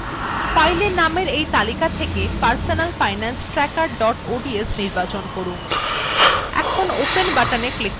file names এই তালিকা থেকে personal finance tracker dot ods নির্বাচন করুন